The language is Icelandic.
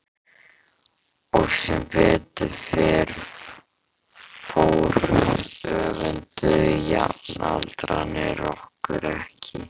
Og sem betur fór öfunduðu jafnaldrarnir okkur ekki.